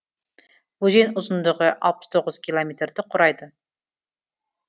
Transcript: өзен ұзындығы алпыс тоғыз километрді құрайды